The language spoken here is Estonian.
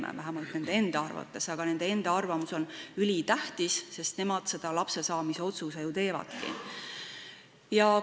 Seda vähemalt nende enda arvates, aga nende enda arvamus on ülitähtis, sest nemad selle lapse saamise otsuse ju teevadki.